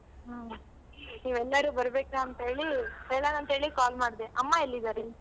ಹ ನೀವೆಲ್ಲರೂ ಬರ್ಬೇಕ ಅಂತ್ ಹೇಳಿ ಹೇಳಣ ಅಂತ್ ಹೇಳಿ call ಮಾಡ್ದೆ. ಅಮ್ಮ ಎಲ್ಲಿದಾರೆ?